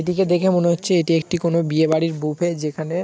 এটিকে দেখে মনে হচ্ছে এটি একটি কোনো বিয়ে বাড়ির বুফে যেখানে।